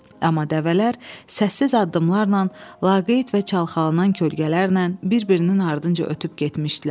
Amma dəvələr səssiz addımlarla, laqeyd və çalxalanan kölgələrlə bir-birinin ardınca ötüb getmişdilər.